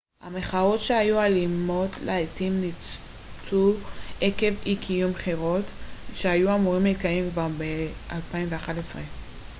המחאות שהיו אלימות לעתים ניצתו עקב אי-קיום בחירות שהיו אמורות להתקיים כבר ב-2011